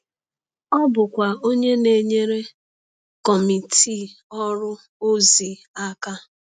Ọ bụkwa onye na-enyere Kọmitii Ọrụ ozi aka.